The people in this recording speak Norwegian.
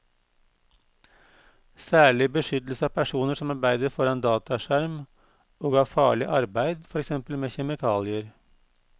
Særlig beskyttelse av personer som arbeider foran dataskjerm og av farlig arbeid, for eksempel med kjemikalier.